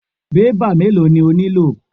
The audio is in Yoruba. Bébà mélòó ni o nílò?